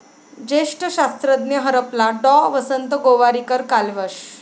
ज्येष्ठ शास्त्रज्ञ हरपला, डॉ. वसंत गोवारीकर कालवश